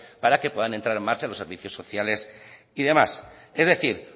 para que puedan entrar en marcha los servicios sociales y demás es decir